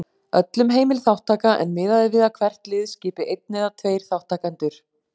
Öllum heimil þátttaka en miðað er við að hvert lið skipi einn eða tveir þátttakendur.